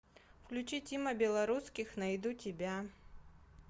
включи тима белорусских найду тебя